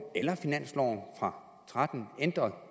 eller finansloven for to og tretten ændret